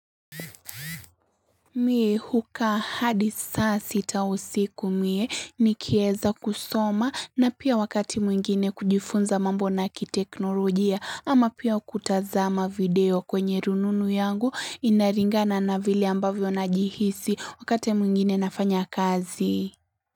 Mie hukaa hadi saa sita usiku mie nikieza kusoma na pia wakati mwingine kujifunza mambo na kiteknolojia ama pia kutazama video kwenye rununu yangu inaringana na vili ambavyo na jihisi wakati mwingine nafanya kazi.